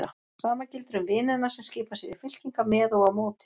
Sama gildir um vinina sem skipa sér í fylkingar með og á móti.